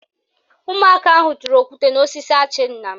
Ụmụaka ahụ tụrụ okwute n'osisi achị nna m